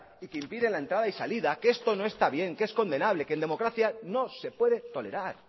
y que impiden la entrada y la salida que esto no está bien que es condenable que en democracia no se puede tolerar